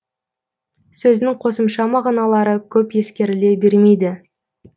сөздің қосымша мағыналары көп ескеріле бермейді